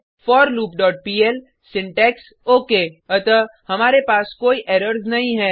forloopपीएल syntax okay अतः हमारे पास कोई एरर्स नहीं है